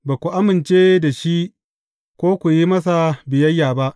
Ba ku amince da shi, ko ku yi masa biyayya ba.